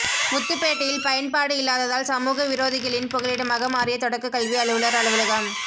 முத்துப்பேட்டையில் பயன்பாடு இல்லாததால் சமூக விரோதிகளின் புகலிடமாக மாறிய தொடக்க கல்வி அலுவலர் அலுவலகம்